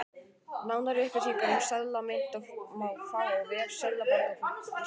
Nánari upplýsingar um seðla og mynt má fá á vef Seðlabanka Íslands.